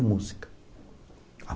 A música.